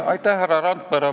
Aitäh, härra Randpere!